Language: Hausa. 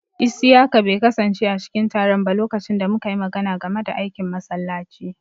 Isiyaka bai kasance a cikin taron ba lokacin da muka yi magana game da aikin masallaci.